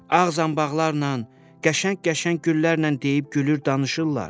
Ağ zanbaqlarla, qəşəng-qəşəng güllərlə deyib gülür, danışırlar.